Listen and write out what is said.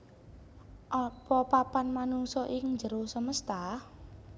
Apa papan manungsa ing njero semesta